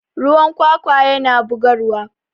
ruwan kwakwa yana bugarwa